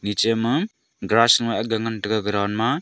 nich ma grass a ngan taiga ground ma.